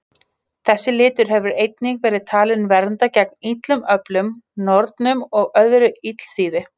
Þessi litur hefur einnig verið talinn vernda gegn illum öflum, nornum og öðru illþýði.